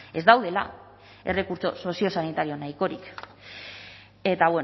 ez daudela errekurtso soziosanitario nahikorik eta